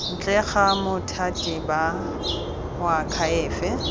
ntle ga bothati ba moakhaefe